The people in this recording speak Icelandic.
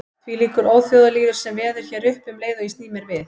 Þvílíkur óþjóðalýður sem veður hér uppi um leið og ég sný mér við.